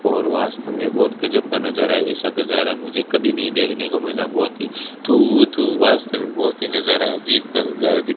और वास्तव में बहोत गजब का नजारा ऐसा गजारा मुझे कभी नहीं देखने को मिला बहोत ही वास्त में बहोत ही नजारा अजीब का नजारा दी --